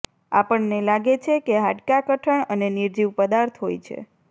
આપણને લાગે છે કે હાડકાં કઠણ અને નિર્જીવ પદાર્થ હોય છે